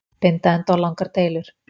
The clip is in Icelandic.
Binda enda á langar deilur